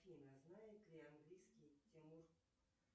афина знает ли английский тимур